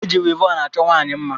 Eji wivọn a chọọ nwaanyị mma.